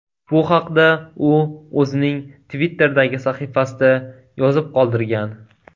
Bu haqda u o‘zining Twitter’dagi sahifasida yozib qoldirgan .